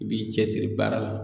I b'i cɛsiri baara la